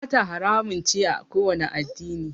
Sata haramun ce a kowani addini